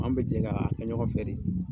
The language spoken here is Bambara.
An bɛ jɛ k'a kɛ ɲɔgɔn fɛ de.